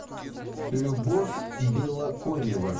любовь белоконева